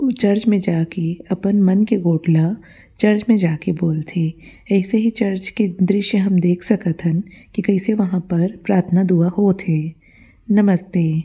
Church में जा के अपन मन के गोठ ला चर्च में के बोलथे ऐसे ही के चर्च के दृश्य हम देख सकत हन की कइसे वह पर प्रार्थना दुआ होत हे नमस्ते।